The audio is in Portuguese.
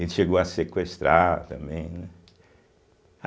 Ele chegou a sequestrar também, né.